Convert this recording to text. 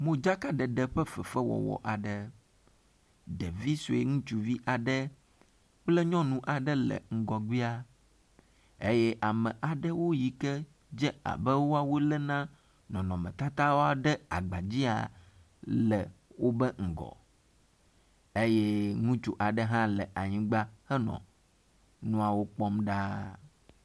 modzaka ɖeɖe ƒe fefe wɔwɔ aɖe ɖevisoe ŋutsuvi aɖe kple nyɔŋu aɖe le ŋgɔgbia eye and aɖewo yike dze abe wɔwoe Lena nɔnɔme tatawoa ɖe amedzia le wobe ŋgɔ eye ŋutsu aɖe nɔ anyigba henɔ ŋuawo kpɔm ɖaa